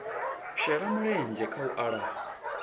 shela mulenzhe kha u lafha